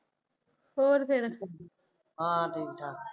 ਹੋਰ ਫਿਰ ਹਾ ਠੀਕ ਆ